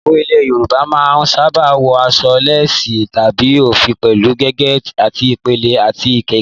Ìyàwó ilẹ̀ Yorùbá máa ń sábà wọ aṣọ léèsì tàbí òfì pẹ̀lú gèlè àti ìpèlé, àti ìlẹ̀kẹ̀